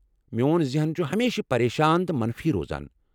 میون ذہن چھ ہمیشہٕ پریشان تہٕ منفی روزان۔